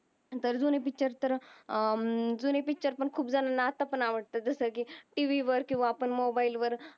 जुने पिक्चर तर जुने पिक्चर पण खूप जनाला अत्ता पण अवडत जस कि टी. वी वर किव्हा मोबाईल वर